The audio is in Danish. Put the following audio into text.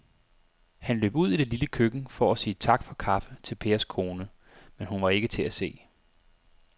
Han løb ud i det lille køkken for at sige tak for kaffe til Pers kone, men hun var ikke til at se.